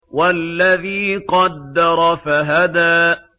وَالَّذِي قَدَّرَ فَهَدَىٰ